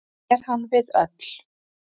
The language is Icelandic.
Er hann við öll.